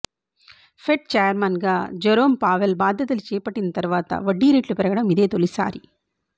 fed చైర్మన్గా Jerome Powell బాధ్యతలు చేపట్టిన తర్వాత వడ్డీరేట్లు పెరగడం ఇదే తొలిసారి